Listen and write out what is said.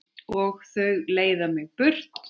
Og þau leiða mig burt.